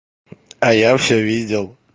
а я всё видел